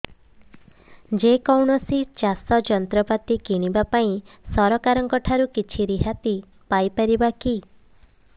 ଯେ କୌଣସି ଚାଷ ଯନ୍ତ୍ରପାତି କିଣିବା ପାଇଁ ସରକାରଙ୍କ ଠାରୁ କିଛି ରିହାତି ପାଇ ପାରିବା କି